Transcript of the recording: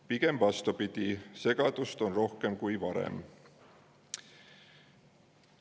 Pigem vastupidi, segadust on rohkem kui varem.